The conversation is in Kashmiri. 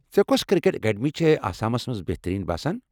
ژےٚ کوٚس کرکٹ ایٚکیڈمی چھے آسامس منٛز بہتٔریٖن باسان ؟